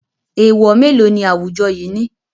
Èèwọ̀ mélòó ni awujọ yìí ní?